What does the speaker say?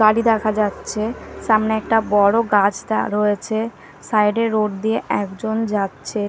গাড়ি দেখা যাচ্ছে সামনে একটা বড় গাছ দা রয়েছে সাইড -এ রোড দিয়ে একজন যাচ্ছে।